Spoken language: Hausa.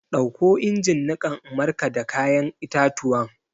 Ɗauko injin niƙan in markada ya'yan itatuwan!